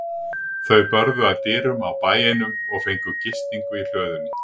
Þau börðu að dyrum á bæ einum og fengu gistingu í hlöðunni.